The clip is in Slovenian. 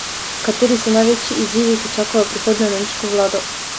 Kateri so največji izzivi, ki čakajo prihodnjo nemško vlado?